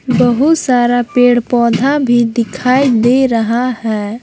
बहुत सारा पेड़ पौधा भी दिखाई दे रहा है।